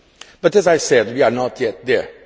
But as I said, we are not yet there.